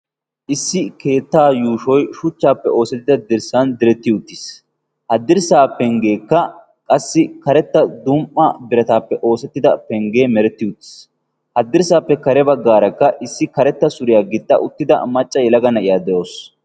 issi keettaa yuushoy shuchchaappe oosettida dirssan diretti uttiis. ha dirssaa penggeekka qassi karetta dum77a birataappe oosettida penggee meretti uttiis. ha dirssappe kare baggaarakka issi karetta suriyaa gixxa uttida macca yelaga na7iyaa de7awusu.